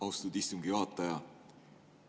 Austatud istungi juhataja!